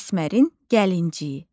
Əsmərin gəlincik.